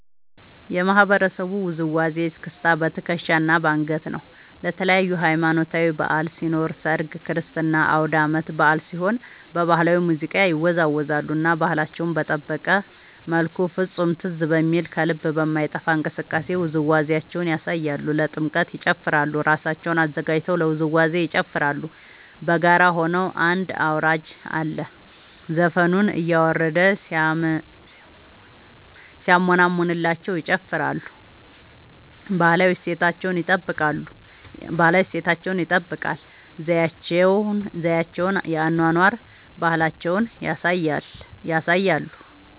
የማህበረሰቡ ውዝዋዜ እስክስታ በትከሻ እና በአንገት ነው። ለተለያዪ ሀማኖታዊ በዐል ሲኖር ሰርግ ክርስትና አውዳመት በአል ሲሆን በባህላዊ ሙዚቃ ይወዛወዛሉ እና ባህላቸውን በጠበቀ መልኩ ፍፁም ትዝ በሚል ከልብ በማይጠፍ እንቅስቃሴ ውዝዋዜያቸውን ያሳያሉ። ለጥምቀት ይጨፉራሉ እራሳቸውን አዘጋጅተው ለውዝዋዜ ይጨፋራሉ በጋራ ሆነው አንድ አውራጅ አለ ዘፈኑን እያረደ ሲያሞነምንላቸው ይጨፍራሉ። ባህላዊ እሴታቸውን ይጠብቃል ዘዪቸውን የአኗኗር ባህላቸውን ያሳያሉ።